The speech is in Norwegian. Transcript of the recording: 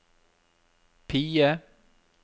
PIE